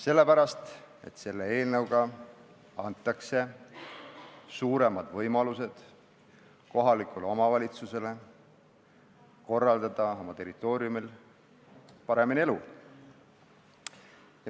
Sellepärast, et selle eelnõuga antakse kohalikule omavalitsusele suuremad võimalused oma territooriumil elu paremini korraldada.